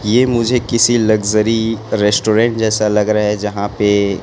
ये मुझे किसी लग्जरी रेस्टोरेंट जैसा लग रहा है जहां पे--